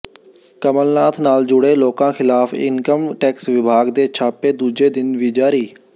ਕਮਲਨਾਥ ਨਾਲ ਜੁੜੇ ਲੋਕਾਂ ਖਿਲਾਫ ਇਨਕਮ ਟੈਕਸ ਵਿਭਾਗ ਦੇ ਛਾਪੇ ਦੂਜੇ ਦਿਨ ਵੀ ਜਾਰੀ